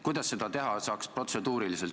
Kuidas saaks seda protseduuriliselt teha?